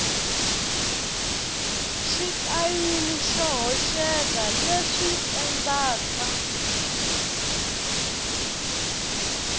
xitayili xo hoxeka leswi endlaka